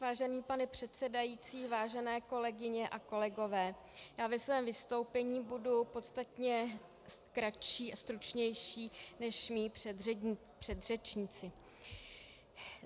Vážený pane předsedající, vážené kolegyně a kolegové, já ve svém vystoupení budu podstatně kratší a stručnější než mí předřečníci.